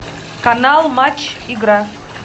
канал матч игра